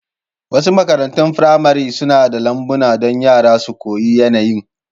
Wasu makarantun firamare suna da lambuna don yara su koyi yanayin.